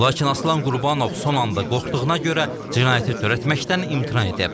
Lakin Aslan Qurbanov son anda qorxduğuna görə cinayəti törətməkdən imtina edib.